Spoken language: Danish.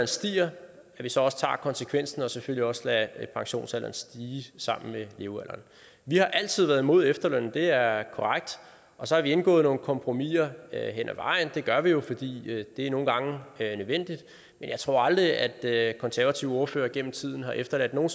stiger så også tager konsekvensen og selvfølgelig også lader pensionsalderen stige sammen med levealderen vi har altid været imod efterlønnen det er korrekt og så har vi indgået nogle kompromiser hen ad vejen det gør vi jo fordi det nogle gange er nødvendigt men jeg tror aldrig at at konservative ordførere gennem tiden har efterladt nogen